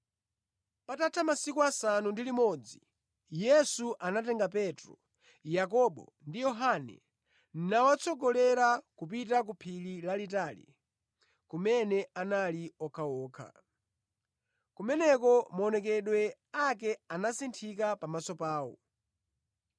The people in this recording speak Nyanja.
Patatha masiku asanu ndi limodzi Yesu anatenga Petro, Yakobo ndi Yohane nawatsogolera kupita ku phiri lalitali, kumene anali okhaokha. Kumeneko maonekedwe ake anasinthika pamaso pawo.